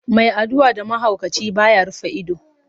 Mai addu'a da mahaukaci, ba ya rufe ido.